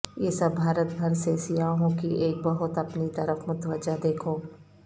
یہ سب بھارت بھر سے سیاحوں کی ایک بہت اپنی طرف متوجہ دیکھو